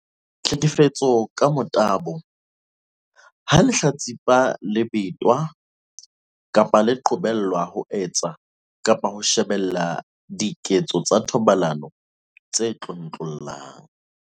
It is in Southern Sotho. Tlhekefetso ka motabo- Ha lehlatsipa le betwa kapa le qobelwa ho etsa kapa ho shebella diketso tsa thobalano tse tlontlollang.